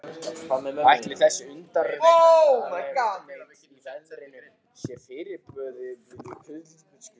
Ætli þessi undarlegheit í veðrinu séu fyrirboði Kötlugoss?